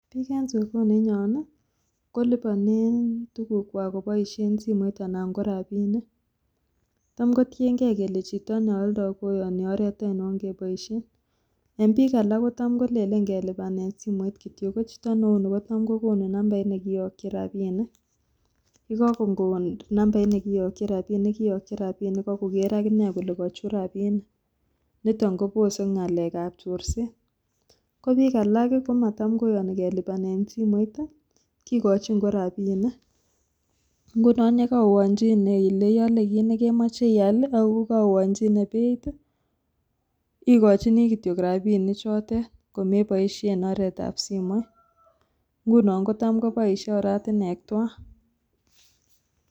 Piik en sokoninyon kolipanen tukukwak koboisien simoit anan ko rapinik tamkotienge kele chito nealdo koyoni oret ainon keboisien en piik alak kotam kolelen keboisien simoit kityok kochito neu nepo 'bank' kotam kokonu numbait nekiyoktin rapinik akoker kole kochut rapinik niton kobose ng'alekab chorset ko piik alak komatam koyoni kelipanen simoit kikochin ko rapinik ngunon yekoanchine ile iale kit nekemoche ial ako kaoanchine beit ikochin kityok rapinichotet komeboisien oretab simoit ngunon kotam koboisie oratinywek tuwan.